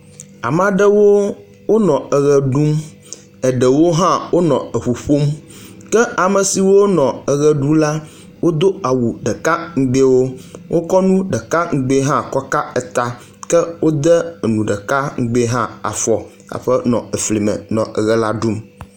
Ama ɖewo wonɔ eʋe ɖum, eɖewo hã wonɔ eŋu ƒom ke ame siwo nɔ eʋe ɖu la, wodo awu ɖeka ŋugbewo, wokɔ nu ɖeka ŋugbe hã kɔka eta, ke wode ŋu ɖeka ŋugbe hã afɔ haƒe nɔ efli me nɔ eʋe la ɖum.